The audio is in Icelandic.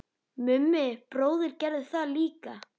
Mummi bróðir gerði það líka.